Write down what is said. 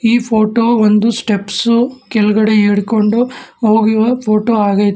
ಈ ಫೋಟೋ ಒಂದು ಸ್ಟೆಪ್ಸು ಕೆಳಗಡೆ ಇಳ್ಕೊಂಡು ಹೋಗುವ ಫೋಟೋ ಆಗೖತೆ.